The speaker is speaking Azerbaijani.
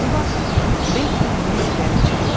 Elə bu vaxt Bet və Nensi gəlib çıxdılar.